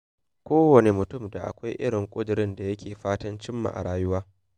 Kowane mutum da akwai irin ƙudurin da yake fatan cimma a rayuwarsa.